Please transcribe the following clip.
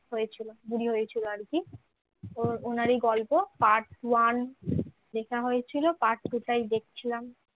হয়েছিল বুড়ি হয়েছিল আর কি ওর ওনার ই গল্প part one লেখা হয়েছিল part two টাই দেখছিলাম